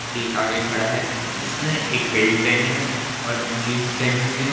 एक आगे खड़ा है जिसने एक बेल्ट पहेनी है और एक जींस पहनी हुई है।